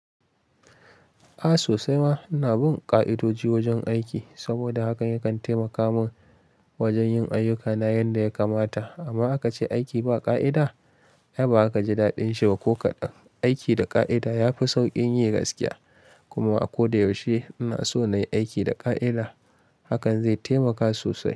A sosai ma ina bin ƙa'idoji wajen aiki saboda haka ya kan taimaka mun wajen yin ayyukana yadda ya kamata. Amma aka ce aiki ba ƙa'ida, ay baza ka ji daɗin shi ba ko kaɗan. Aiki da ƙa'ida ya fi sauƙin yi gaskiya. Kuma a ko da yaushe ina so na yi aiki da ƙa'ida. Hakan zai taimaka sosai.